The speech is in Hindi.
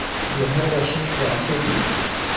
यह रश्मि जानती थी